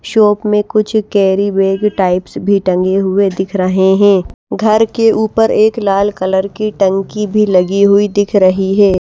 Shop मे कुछ carry bag types भी टंगे हुए दिख रहे है घर के ऊपर एक लाल कलर की टंकी भी लगी हुई दिख रही है।